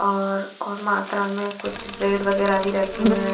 और और मात्रा में कुछ ब्रेड वगैरा भी रखे हुए हैं।